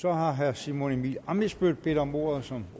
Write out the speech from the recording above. så har herre simon emil ammitzbøll bedt om ordet som